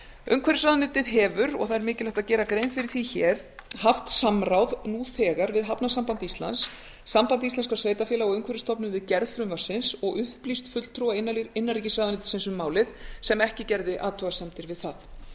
umhverfisráðuneytið hefur og það er mikilvægt að gera grein fyrir því hér haft samráð nú þegar við hafnasamband íslands samband íslenskra sveitarfélaga og umhverfisstofnun við gerð frumvarpsins og upplýst fulltrúa innanríkisráðuneytisins um málið sem ekki gerði athugasemdir við það